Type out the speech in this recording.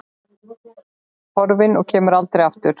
Horfin og kemur aldrei aftur.